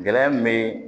Gɛlɛya min bɛ